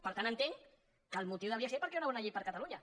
per tant entenc que el motiu deuria ser perquè era una bona llei per a catalunya